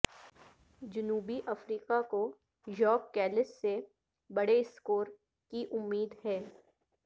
جنوبی افریقہ کو ژاک کیلس سے بڑے اسکور کی امید ہے